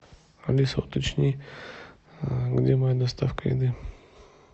алиса уточни где моя доставка еды